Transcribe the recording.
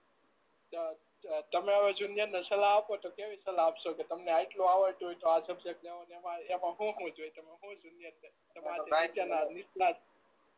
તમે હવે જુનીયર ને સલાહ આપો તો કેવી સલાહ આપશો કે તમને આટલું આવડતું હોય તો આ સબ્જેક્ટ લેવાનો એમાં હું હું જોઈએ તમે જુનીયર ને નીટ ના